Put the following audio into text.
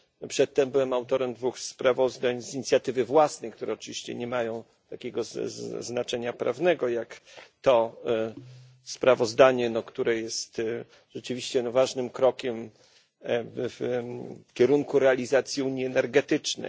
przedtem byłem autorem dwóch sprawozdań z inicjatywy własnej, które oczywiście nie mają takiego znaczenia prawnego jak to sprawozdanie, które jest rzeczywiście ważnym krokiem w kierunku realizacji unii energetycznej.